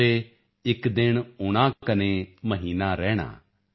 ਚੰਬੇ ਇਕ ਦਿਨ ਓਣਾ ਕਨੇ ਮਹੀਨਾ ਰੈਣਾ